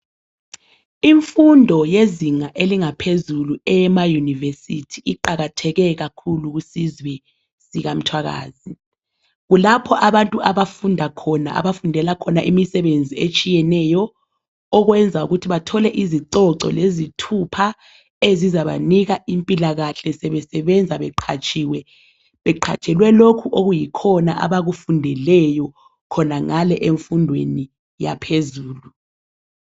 Imfundo yezinga elingaphezulu eyema University iqakatheke kakhulu kusizwe sikamthwakazi. Kulapho abantu abafunda khona , abafundela khona imisebenzi etshiyeneyo okwenza ukuthi bathole izicoco lezithupha ezizabanika impilakahle sebenza beqhatshiwe .Beqhatshelwe lokhu okuyikhona abakufundeleyo khonangale emfundweni yaphezulu.